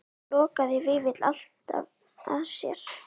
Lokaði Vífill alltaf að sér?